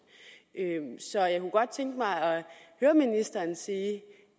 så jeg kunne godt tænke mig at høre ministeren sige